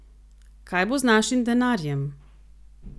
Kaj bo z našim denarjem?